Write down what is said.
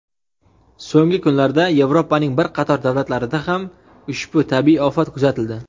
So‘nggi kunlarda Yevropaning bir qator davlatlarida ham ushbu tabiiy ofat kuzatildi.